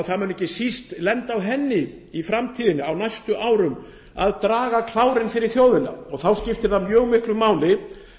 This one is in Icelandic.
það mun ekki síst lenda á henni í framtíðinni á næstu árum að draga vagninn fyrir þjóðina þá skiptir það mjög miklu máli